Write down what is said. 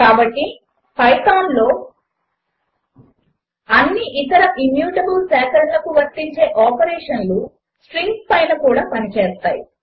కాబట్టి పైథాన్ లో అన్ని ఇతర ఇమ్యూటబుల్ సేకరణలకు వర్తించే ఆపరేషన్లు స్ట్రింగ్స్ పైన కూడా పనిచేస్తాయి